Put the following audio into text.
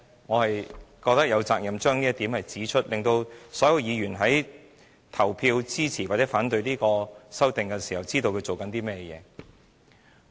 我覺得我有責任指出這一點，讓所有議員在投票支持或反對這項修訂時，知道正在做甚麼。